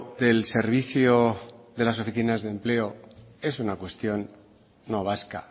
del servicio de las oficinas de empleo es una cuestión no vasca